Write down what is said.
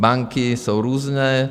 Banky jsou různé.